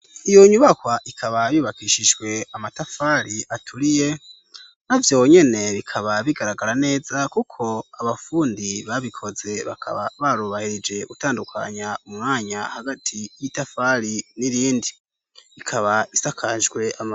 Iyo nyubakwa ikaba yubakishijwe amatafari aturiye, navyo nyene bikaba bigaragara neza kuko abafundi babikoze bakaba barubahirije gutandukanya umanya hagati y'itafari n'irindi, ikaba isakajwe ama.